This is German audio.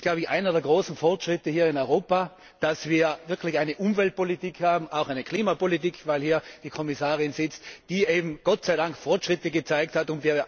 Das ist einer der großen Fortschritte hier in Europa, dass wir wirklich eine Umweltpolitik haben auch eine Klimapolitik, weil hier die Kommissarin sitzt die Gott sei Dank Fortschritte gezeigt hat.